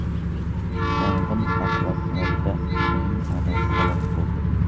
Yong‘in oqibatida uning onasi halok bo‘ldi.